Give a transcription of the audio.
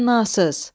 Təmənnasız.